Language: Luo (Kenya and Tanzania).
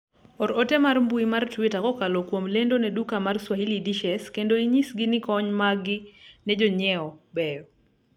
or ote mar mbui mar twitter kokalo kuom lendo ne duka mar swahili dishes kendo inyisgi ni kony mag gi ne jonyiewo beyo